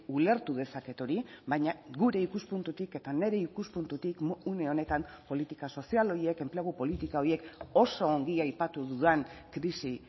ulertu dezaket hori baina gure ikuspuntutik eta nire ikuspuntutik une honetan politika sozial horiek enplegu politika horiek oso ongi aipatu dudan krisi